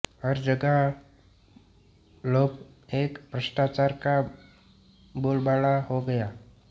हर जगह लोभ एवं भ्रष्टाचार का बोलबाला हो गया